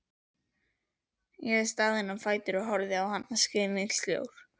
Ég var staðinn á fætur og horfði á hana skilningssljór.